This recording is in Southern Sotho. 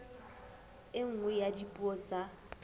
e nngwe ya dipuo tsa